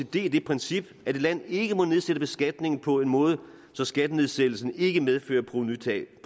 det princip at et land ikke må nedsætte beskatningen på en måde så skattenedsættelsen ikke medfører provenutab